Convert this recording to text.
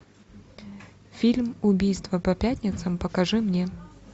фильм убийство по пятницам покажи мне